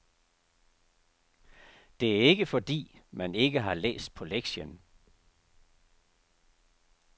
Det er ikke fordi, man ikke har læst på lektien.